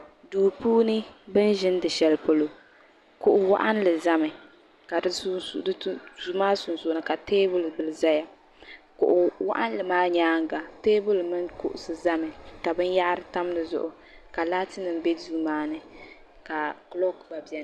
Duu puuni bin ʒindi shɛli polo kuɣu waɣinli zami ka duu maa sunsuuni ka teebuli bila zaya kuɣu waɣinli maa nyaanga teebuli mini kuɣusi zami ka bin yahiri tam di zuɣu ka laati nim bɛ duu maa ni ka kulɔk gba bɛni.